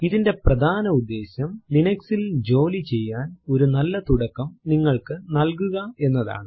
ഇതിന്റെ പ്രധാന ഉദ്ദേശ്യം Linux ൽ ജോലി ചെയ്യാൻ ഒരു നല്ല തുടക്കം നിങ്ങൾക്കു നൽകുക എന്നതാണ്